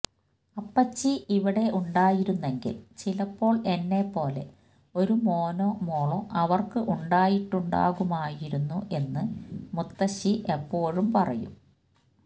അപ്പച്ചി ഇവിടെ ഉണ്ടായിരുന്നെങ്കിൽ ചിലപ്പോ എന്നെ പോലെ ഒരു മോനോ മോളോ അവര്ക്കു ഉണ്ടായിട്ടുണ്ടാകുമായിരുന്നു എന്ന് മുത്തശ്ശി എപ്പഴും പറയും